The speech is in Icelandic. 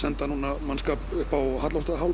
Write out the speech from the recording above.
enda núna mannskap upp á